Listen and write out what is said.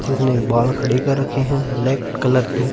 जिसने बाल खड़ी कर रखी है ब्लैक कलर की--